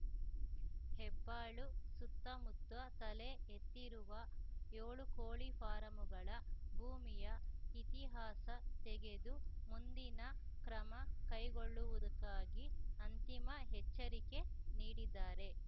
ಹೆಬ್ಬಾಳು ಸುತ್ತಮುತ್ತ ತಲೆ ಎತ್ತಿರುವ ಯೋಳು ಕೋಳಿ ಫಾರಂಗಳ ಭೂಮಿಯ ಇತಿಹಾಸ ತೆಗೆದು ಮುಂದಿನ ಕ್ರಮ ಕೈಗೊಳ್ಳುವುದಕ್ಕಾಗಿ ಅಂತಿಮ ಎಚ್ಚರಿಕೆ ನೀಡಿದ್ದಾರೆ